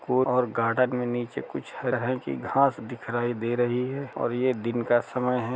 Phone और garden में नीचे कुछ हरे रंग की घास दिखाई दे रही है और ये दिन का समय है।